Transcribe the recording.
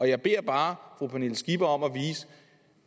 jeg beder bare fru pernille skipper om